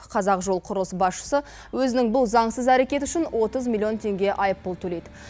қазақжолқұрылыс басшысы өзінің бұл заңсыз әрекеті үшін отыз миллион теңге айыппұл төлейді